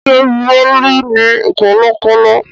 Ṣé Bólú ní kọ̀lọ̀kọ́lọ̀?